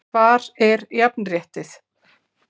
Hvar er jafnréttið??